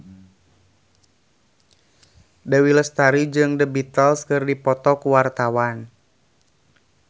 Dewi Lestari jeung The Beatles keur dipoto ku wartawan